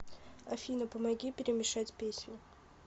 афина помоги перемешать песни